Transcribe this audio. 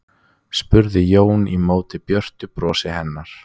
spurði Jón í móti björtu brosi hennar.